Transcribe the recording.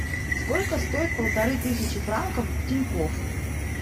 сколько стоит полторы тысячи франков в тинькофф